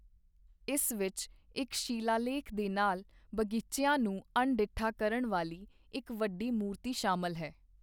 ਇਸ ਵਿੱਚ ਇੱਕ ਸ਼ਿਲਾਲੇਖ ਦੇ ਨਾਲ ਬਗੀਚਿਆਂ ਨੂੰ ਅਣਡਿੱਠਾ ਕਰਨ ਵਾਲੀ ਇੱਕ ਵੱਡੀ ਮੂਰਤੀ ਸ਼ਾਮਲ ਹੈ।